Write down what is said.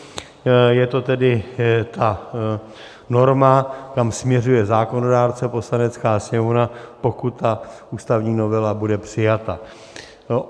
Je to tedy ta norma, kam směřuje zákonodárce, Poslanecká sněmovna, pokud ta ústavní novela bude přijata.